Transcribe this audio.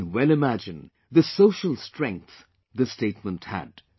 You can well imagine the social strength this statement had